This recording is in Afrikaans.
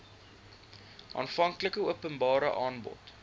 aanvanklike openbare aanbod